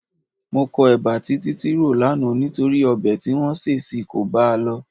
Mo kọ ẹba tí Títí rò lánàá nítorí ọbẹ̀ tí wọ́n sè sí i kò bá a lọ.